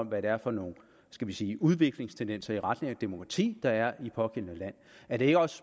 hvad det er for nogle skal vi sige udviklingstendenser i retning af demokrati der er i det pågældende land er det ikke også